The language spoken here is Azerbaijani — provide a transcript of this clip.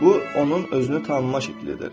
Bu onun özünü tanımaq şəklidir.